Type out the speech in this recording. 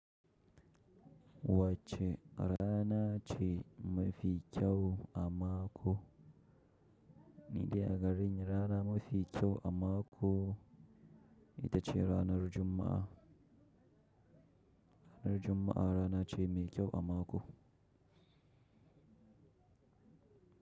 Wacce rana ce mafi kyau a mako? Ni dai agarin rana mafi kyau a mako ita ce ranar Juma'a. Ranar Juma'a rana ce mai kyau a mako.